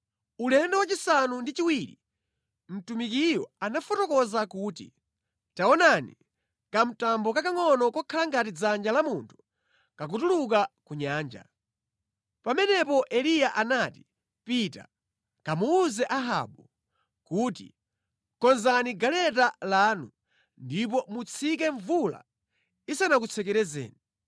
Ulendo wachisanu ndi chiwiri mtumikiyo anafotokoza kuti, “Taonani, kamtambo kakangʼono kokhala ngati dzanja la munthu kakutuluka ku nyanja.” Pamenepo Eliya anati, “Pita, kamuwuze Ahabu kuti, ‘Konzani galeta lanu ndipo mutsike mvula isanakutsekerezeni.’ ”